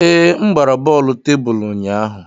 Ee, m gbara bọọlụ tebụl ụnyaahụ.